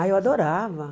Ah eu adorava.